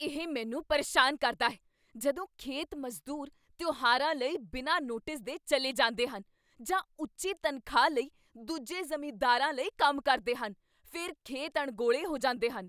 ਇਹ ਮੈਨੂੰ ਪਰੇਸ਼ਾਨ ਕਰਦਾ ਹੈ ਜਦੋਂ ਖੇਤ ਮਜ਼ਦੂਰ ਤਿਉਹਾਰਾਂ ਲਈ ਬਿਨਾਂ ਨੋਟਿਸ ਦੇ ਚੱਲੇ ਜਾਂਦੇ ਹਨ ਜਾਂ ਉੱਚੀ ਤਨਖ਼ਾਹ ਲਈ ਦੂਜੇ ਜ਼ਿਮੀਦਾਰਾਂ ਲਈ ਕੰਮ ਕਰਦੇ ਹਨ। ਫਿਰ ਖੇਤ ਅਣਗੌਲੇ ਹੋ ਜਾਂਦੇ ਹਨ।